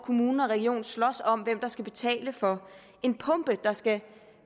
kommune og region slås om hvem der skal betale for en pumpe der skal